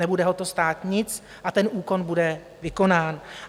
Nebude ho to stát nic a ten úkon bude vykonán.